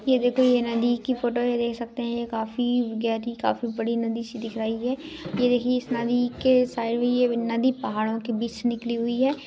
ये देखो ये नदी की फोटो देख सकते है ये काफी गहरी काफी बड़ी नदी सी दिखाई दे रही है ये देखिये नदी के साइड ये नदी पहाडों के बीच निकली हुई है।